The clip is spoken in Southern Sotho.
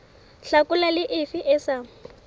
hlakola le efe e sa